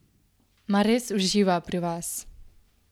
Mar res uživa pri vas?